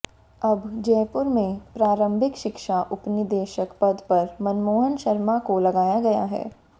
अब जयपुर में प्रारंभिक शिक्षा उपनिदेशक पद पर मनमोहन शर्मा को लगाया गया है